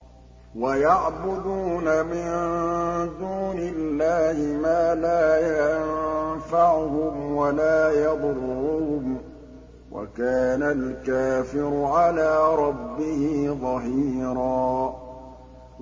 وَيَعْبُدُونَ مِن دُونِ اللَّهِ مَا لَا يَنفَعُهُمْ وَلَا يَضُرُّهُمْ ۗ وَكَانَ الْكَافِرُ عَلَىٰ رَبِّهِ ظَهِيرًا